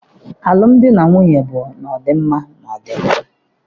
Alụm di na nwunye bu na-odị mma na odi njọ